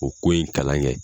O ko in kalan kɛ.